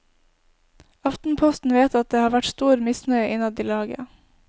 Aftenposten vet at det har vært stor misnøye innad i laget.